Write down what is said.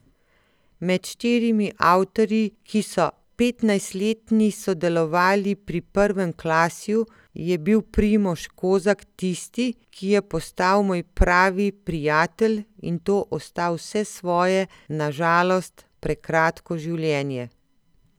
Med štirimi avtorji, ki so petnajstletni sodelovali pri Prvem klasju, je bil Primož Kozak tisti, ki je postal moj pravi prijatelj in to ostal vse svoje na žalost prekratko življenje.